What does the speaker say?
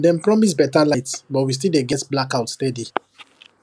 dem promise better light but we still dey get blackout steady